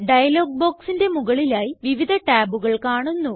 dialogue ബോക്സിന്റെ മുകളിലായി വിവിധ ടാബുകൾ കാണുന്നു